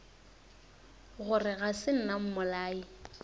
gore ga se nna mmolai